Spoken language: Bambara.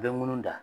U bɛ munun da